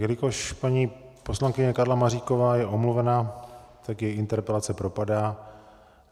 Jelikož paní poslankyně Karla Maříková je omluvena, tak její interpelace propadá.